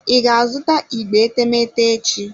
I ga-azụta igbe etemeete echi?